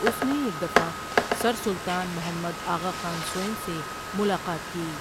اس نے ایک دفعہ سر سلطان محمد آغاخان سوٸم سے ملاقات کی ۔